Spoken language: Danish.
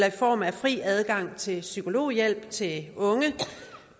i form af fri adgang til en psykologhjælp til unge